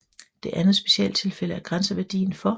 Det andet specialtilfælde er grænseværdien for